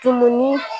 Tununi